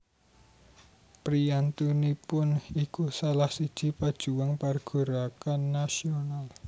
Priyantunipun iku salah siji pejuang pergerakan nasional